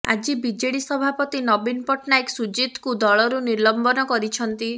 ଆଜି ବିଜେଡି ସଭାପତି ନବୀନ ପଟ୍ଟନାୟକ ସୁଜିତଙ୍କୁ ଦଳରୁ ନିଲମ୍ବନ କରିଛନ୍ତି